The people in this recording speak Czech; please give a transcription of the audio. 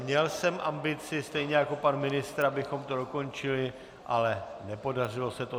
Měl jsem ambici stejně jako pan ministr, abychom to dokončili, ale nepodařilo se to.